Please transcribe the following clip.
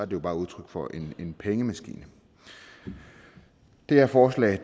jo bare udtryk for en pengemaskine det her forslag